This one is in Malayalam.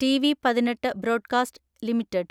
ടിവി പതിനെട്ട് ബ്രോഡ്കാസ്റ്റ് ലിമിറ്റെഡ്